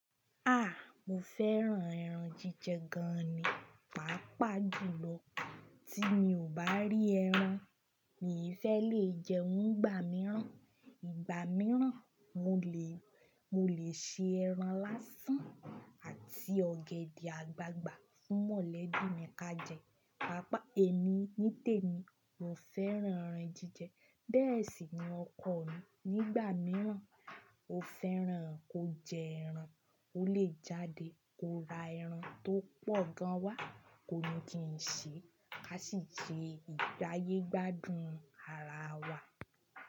A! Mo fẹ́ran ẹran jíjẹ gan ni. Pàápàá jùlọ tí mi ò bá rí ẹran mi i fẹ́ lè jẹun nigbà mìíràn. Ìgbà mìíràn mo lè, mo lè se ẹran lásán àti ọ̀gẹ̀dẹ̀ àgbagbà fún mọ̀lẹ́bí mi ká jẹ. Pàápàá èmi nítèmi mo fẹ́ran ẹran jíjẹ bẹ́ẹ̀ sì ni ọkọ mi. Nígbà mìíràn ó fẹ́ran kó jẹ ẹran, ó lè jáde kó ra ẹran tó pọ̀ gan wa kó ni kí n ṣe, ká sì jẹ ìgbáyé gbádùn ara wa.